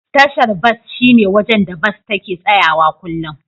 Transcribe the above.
Tashar bas shine wajen da Bas take tsayawa kullum.